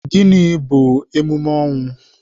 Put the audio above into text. Gịnị bu emume ọnwụ?